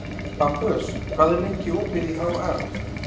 Bambus, hvað er lengi opið í HR?